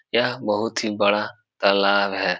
यह बहुत ही बड़ा तालाब है।